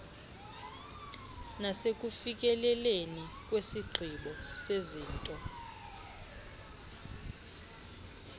nasekufikeleleni kwisigqibo sezinto